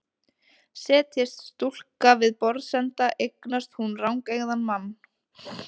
Setjist stúlka við borðsenda eignast hún rangeygðan mann.